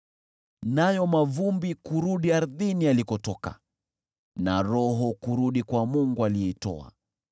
nayo mavumbi kurudi ardhini yalikotoka, na roho kurudi kwa Mungu aliyeitoa.